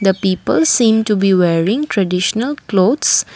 the people seen to be wearing traditional clothes.